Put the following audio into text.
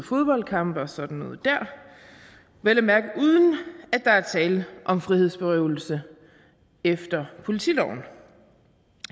fodboldkampe og sådan noget der vel at mærke uden at der er tale om frihedsberøvelse efter politiloven